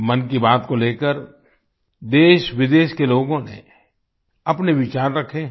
मन की बात को लेकर देशविदेश के लोगों ने अपने विचार रखे हैं